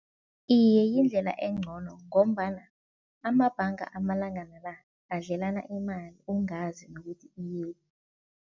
Iye yindlela engcono ngombana amabhanga amalangana la adlelana imali, ungazi nokuthi iyephi.